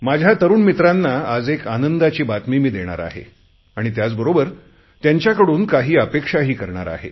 माझ्या तरुण मित्रांना आज एक आनंदाची बातमी मी देणार आहे आणि त्याचबरोबर त्यांच्याकडून काही अपेक्षाही करणार आहे